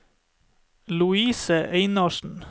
Louise Einarsen